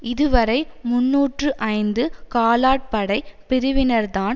இதுவரை முன்னூற்று ஐந்து காலாட்படை பிரிவினர்தான்